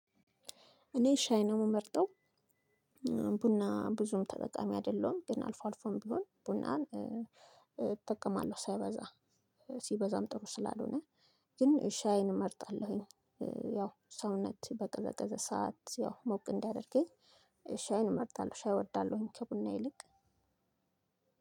እኔ ሻይ ነው የምመርጠው። ቡና ብዙም ተጠቃሚ አይደለሁም ግን አልፎ አልፎም ቢሆን ቡናን እጠቀማለሁ ሳይበዛ ሲበዛም ጥሩ ስላልሆነ ግን ሻይን እመርጣለሁኝ። ያው ሰውነት በቀዘቀዘ ሰዓት ያው ሞቅ እንዲያደርገኝ ሻይን እመርጣለሁ ሻይ እወዳለሁኝ። ከቡና ይልቅ